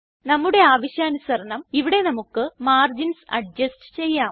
നമ്മുടെ ആവശ്യാനുസരണം ഇവിടെ നമുക്ക് മാർജിൻസ് അഡ്ജസ്റ്റ് ചെയ്യാം